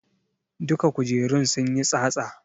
Duka kujerun sunyi tsatsa